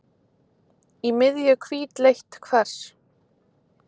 Í miðju hvítleitt kvars.